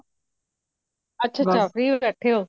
ਅੱਛਾ ਅੱਛਾ free ਬੈਠੇ ਹੋ